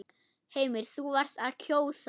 Heimir: Þú varst að kjósa?